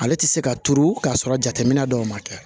Ale tɛ se ka turu k'a sɔrɔ jateminɛ dɔw ma kɛ